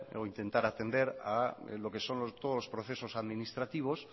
o intentar atender a lo que son los nuevos procesos administrativos